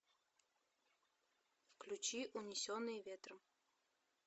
включи унесенные ветром